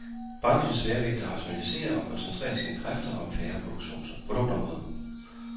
Branchens sværvægtere rationaliserer og koncentrerer sine kræfter om færre produktområder.